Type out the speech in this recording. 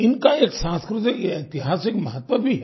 इनका एक सांस्कृतिकऐतिहासिक महत्व भी है